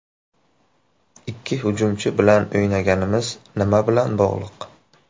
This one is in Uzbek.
Ikki hujumchi bilan o‘ynaganimiz nima bilan bog‘liq?